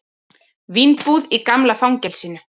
Vínbúð í gamla fangelsinu